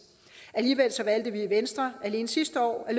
alligevel valgte vi i venstre alene sidste år at